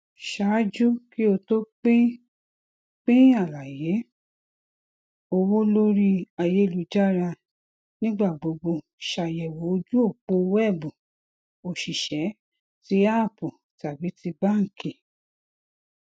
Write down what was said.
ṣaaju ki o to pin pin alaye owo lori ayelujara nigbagbogbo ṣayẹwo oju opo wẹẹbu osise ti app tabi ti banki